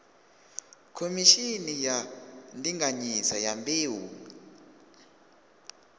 khomishini ya ndinganyiso ya mbeu